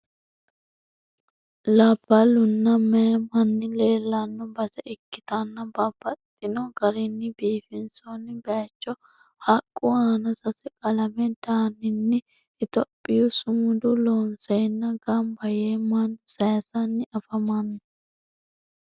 Labbalunna meyaa manni leellanno base ikkitanna babbaxino garinni biifinsoonni baaycho haqqu aana sase qalame daninni itiyophiyu sumuda loonsenna gamba yee mannu aayisanni afamanno.